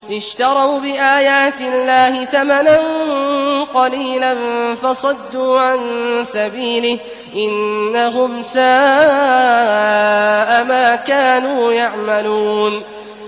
اشْتَرَوْا بِآيَاتِ اللَّهِ ثَمَنًا قَلِيلًا فَصَدُّوا عَن سَبِيلِهِ ۚ إِنَّهُمْ سَاءَ مَا كَانُوا يَعْمَلُونَ